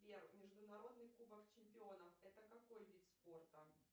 сбер международный кубок чемпионов это какой вид спорта